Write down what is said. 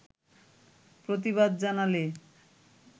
প্রতিবাদ জানালে